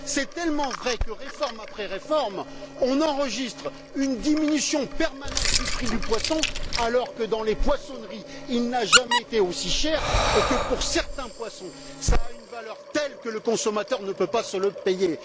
C'est tellement vrai que, réforme après réforme, on enregistre une diminution permanente du prix du poisson alors que, dans les poissonneries, il n'a jamais été aussi cher et que, pour certains poissons, cela a une valeur telle que le consommateur ne peut pas se les payer.